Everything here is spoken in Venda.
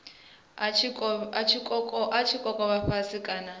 i tshi kokovha fhasi kana